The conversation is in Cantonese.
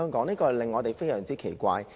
這點令我們感到非常奇怪。